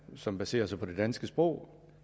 som baserer sig på det danske sprog og